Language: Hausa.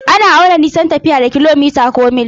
Ana auna nisan tafiya da kilomita or mil.